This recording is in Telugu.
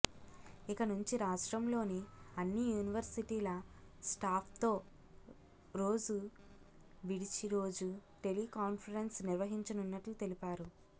ఇక నుంచి రాష్ట్రంలోని అన్ని యూనివర్శిటీల స్టాఫ్తో రోజు విడిచి రోజు టెలికాన్ఫరెన్స్ నిర్వహించనున్నట్టు తెలిపారు